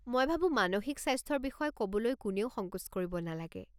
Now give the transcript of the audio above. মই ভাবো মানসিক স্বাস্থ্যৰ বিষয়ে ক'বলৈ কোনেও সংকোচ কৰিব নালাগে।